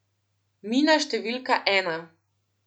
Mina številka ena.